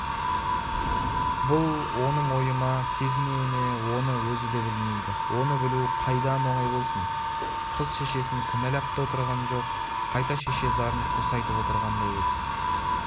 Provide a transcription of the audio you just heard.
бұл оның ойы ма сезінуі ме оны өзі де білмейді оны білу қайдан оңай болсын қыз шешесін кінәлап та отырған жоқ қайта шеше зарын қоса айтып отырғандай еді